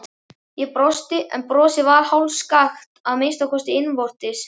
Ég brosti, en brosið varð hálfskakkt, að minnsta kosti innvortis.